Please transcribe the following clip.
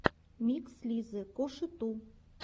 микс лизы коши ту